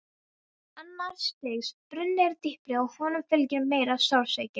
Annars stigs bruni er dýpri og honum fylgir meiri sársauki.